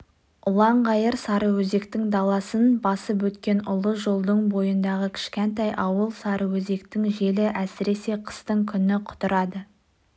ұланғайыр сарыөзектің даласын басып өткен ұлы жолдың бойындағы кішкентай ауыл сарыөзектің желі әсіресе қыстың күні құтырады